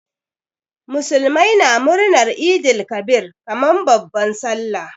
Muslimai na murnar Eid el Kabir kaman babban sallah.